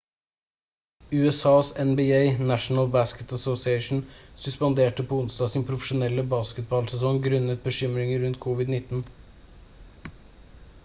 usas nba national basketball association suspenderte på onsdag sin profesjonelle basketballsesong grunnet bekymringer rundt covid-19